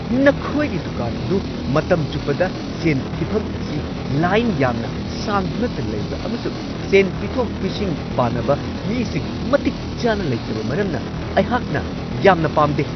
ꯅꯈꯣꯏꯒꯤ ꯗꯨꯀꯥꯟ ꯑꯗꯨ ꯃꯇꯝ ꯆꯨꯞꯄꯗ ꯁꯦꯟ ꯊꯤꯐꯝ ꯑꯁꯤ ꯂꯥꯏꯟ ꯌꯥꯝꯅ ꯁꯥꯡꯗꯨꯅꯇ ꯂꯩꯕ ꯑꯃꯁꯨꯡ ꯁꯦꯟ ꯄꯤꯊꯣꯛ-ꯄꯤꯁꯤꯟ ꯄꯥꯅꯕ ꯃꯤꯁꯤꯡ ꯃꯇꯤꯛ ꯆꯥꯅ ꯂꯩꯇꯕ ꯃꯔꯝꯅ ꯑꯩꯍꯥꯛꯅ ꯌꯥꯝꯅ ꯄꯥꯝꯗꯦ ꯫